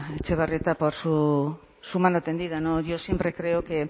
etxebarrieta por su mano tendida yo siempre creo que